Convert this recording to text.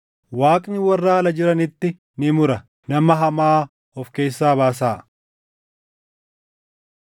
Waaqni warra ala jiranitti ni mura; “Nama hamaa of keessaa baasaa!” + 5:13 \+xt KeD 17:7; 19:19; 21:21; 22:21,24; 24:7\+xt*